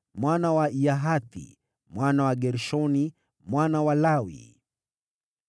mwana wa Yahathi, mwana wa Gershoni, mwana wa Lawi.